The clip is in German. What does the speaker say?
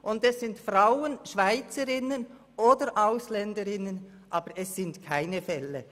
Und es sind Frauen, Schweizerinnen oder Ausländerinnen, aber es sind keine «Fälle»!